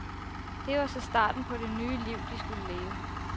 Det var så starten på det nye liv, de skulle leve.